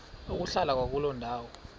ukuhlala kwakuloo ndawo